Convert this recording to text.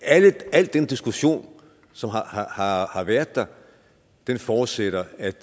al den diskussion som har har været der forudsætter at